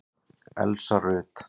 Elsa Rut.